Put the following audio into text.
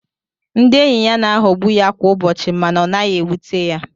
Ndị enyị ya na-aghogbú ya kwá ụbọchị mànà ọ naghị éwúté ya